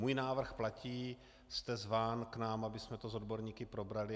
Můj návrh platí, jste zván k nám, abychom to s odborníky probrali.